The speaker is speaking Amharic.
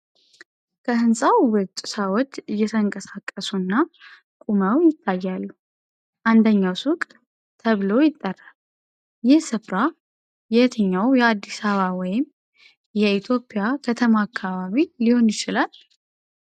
ከህንጻው ውጪ ሰዎች እየተንቀሳቀሱና ቆመው ይታያሉ፤ አንደኛው ሱቅ 'Enrico Pastry' ተብሎ ይጠራል። ይህ ስፍራ የትኛው የአዲስ አበባ ወይም የኢትዮጵያ ከተማ አካባቢ ሊሆን ይችላል?